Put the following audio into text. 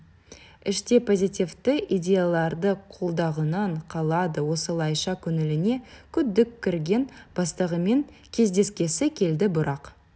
іштей позитивті идеяларды қолдағанын қалады осылайша көңіліне күдік кірген бастығымен кездескісі келді бірақ